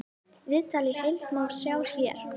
Viðtalið í heild má sjá hér